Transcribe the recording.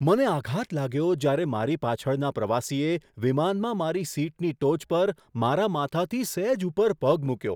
મને આઘાત લાગ્યો જ્યારે મારી પાછળના પ્રવાસીએ વિમાનમાં મારી સીટની ટોચ પર, મારા માથાથી સહેજ ઉપર પગ મૂક્યો!